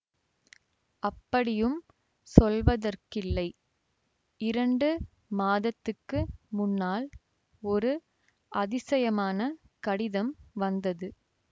அப்படியும் சொல்வதற்கில்லை இரண்டு மாதத்துக்கு முன்னால் ஒரு அதிசயமான கடிதம் வந்தது